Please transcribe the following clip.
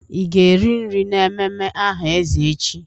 Ị ga-eri nri n'ememme aha eze echi?